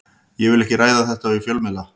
Ég vil ekki ræða þetta við fjölmiðla.